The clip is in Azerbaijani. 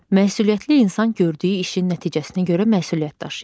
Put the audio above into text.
Məsuliyyətli insan gördüyü işin nəticəsinə görə məsuliyyət daşıyır.